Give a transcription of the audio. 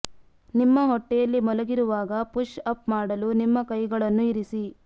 ನಿಮ್ಮ ಹೊಟ್ಟೆಯಲ್ಲಿ ಮಲಗಿರುವಾಗ ಪುಶ್ ಅಪ್ ಮಾಡಲು ನಿಮ್ಮ ಕೈಗಳನ್ನು ಇರಿಸಿ